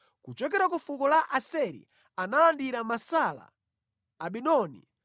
kuchokera ku fuko la Aseri analandira Masala, Abidoni,